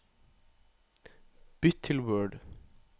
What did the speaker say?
Bytt til Word